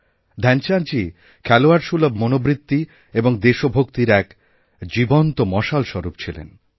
ধ্যানচাঁদজী খেলোয়াড়সুলভ মনোবৃত্তি এবং দেশভক্তির একজীবন্ত মশালস্বরূপ ছিলেন